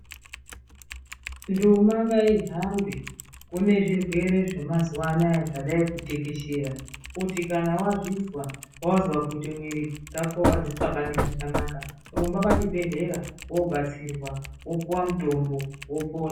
Nduma ngaihambe kune zvirwere zvamazuwa anaa zvadayi kutekeshera ngekuti kune zvirwere zvakawanda kuti wazvizwa, wazwa kuti mwiri wako auxabangi zvakanaka, rumba pachibhedhleya woobatsirwa wopuwe mutombo wopona.